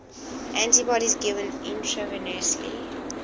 antibodies given intravenously